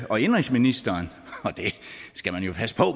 og indenrigsministeren og det skal man jo passe på